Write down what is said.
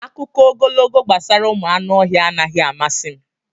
Akụkọ ogologo gbasara ụmụ anụ ọhịa anaghị amasị m.